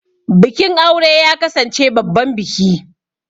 Bikin aure ya kasance babban biki.